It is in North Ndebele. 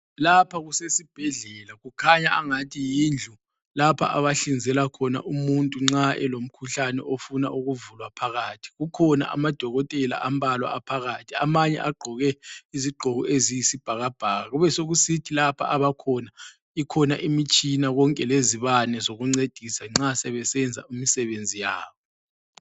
Lapha kusesibhedlela kukhanya angathi yindlu lapha abahlinzela khona umuntu nxa elomkhuhlane ofuna ukuvulwa phakathi. Kukhona amadokotela ambalwa aphakathi. Amanye agqoke izigqoko eziyisibhakabhaka kubesekusithi lapha abakhona ikhona imitshina konke lezibane zokuncedisa nxa sebesenza imisebenzi yabo.